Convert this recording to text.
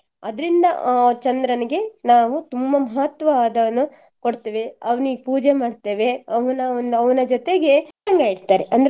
ಅದರಿಂದ ಆ ಚಂದ್ರನಿಗೆ ನಾವು ತುಂಬ ಮಹತ್ವ ಅದನ್ನು ಕೊಡ್ತೇವೆ ಅವ್ನಿಗ್ ಪೂಜಾ ಮಾಡ್ತೇವೆ ಅವನ ಒಂದು ಅವನ ಜೊತೆಗೆ ಇಡ್ತಾರೆ